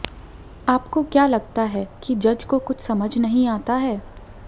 आपको क्या लगता है कि जज को कुछ समझ नहीं आता है